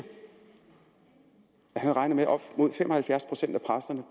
han regner med at op mod fem og halvfjerds procent af præsterne